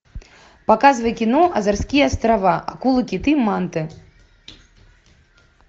показывай кино азорские острова акулы киты манты